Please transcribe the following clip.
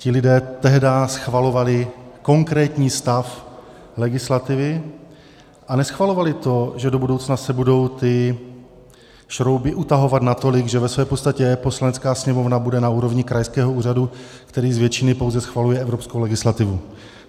Ti lidé tehdy schvalovali konkrétní stav legislativy a neschvalovali to, že do budoucna se budou ty šrouby utahovat natolik, že ve své podstatě Poslanecká sněmovna bude na úrovni krajského úřadu, který z většiny pouze schvaluje evropskou legislativu.